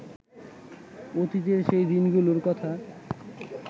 অতীতের সেই দিনগুলোর কথা